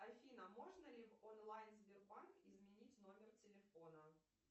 афина можно ли в онлайн сбербанк изменить номер телефона